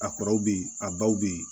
A kɔrɔw bɛ yen a baw bɛ yen